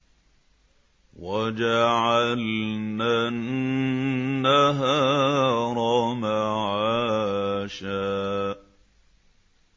وَجَعَلْنَا النَّهَارَ مَعَاشًا